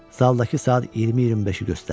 Zaldakı saat 20-25-i göstərirdi.